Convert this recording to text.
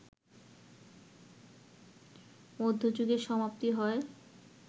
মধ্যযুগের সমাপ্তি হয়